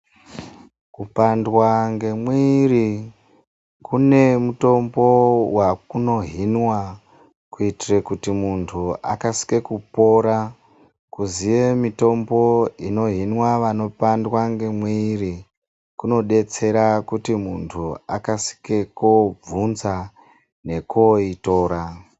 Kupandwa ngemwiri kune mutombo wakunohinwa kuitire kuti muntu akasike kupora kuziye mitombo inohinwa vanopandwa ngemwiri kunodetsera kuti muntu akasike kobvunza nekoitora.